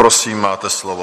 Prosím, máte slovo.